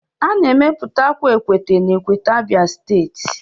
A na-emepụta akwa Akwete na akwete, abia steeti